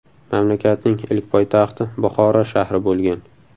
Mamlakatning ilk poytaxti Buxoro shahri bo‘lgan.